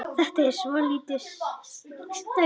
Þetta er svolítið sérstakt mál.